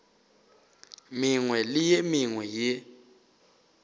mengwe le ye mengwe ye